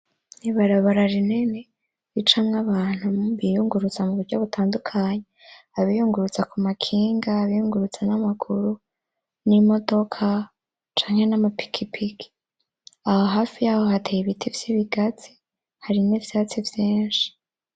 Ibarabara rinini ricamwo abantu biyunguruza mu buryo butandukanye abiyunguruza ku makinga abiyunguruza n'amaguru n'imodoka canke n'amapikipiki aho hafi yaho hateye ibiti vy'ibigazi hari n'ivyatsi vyishi.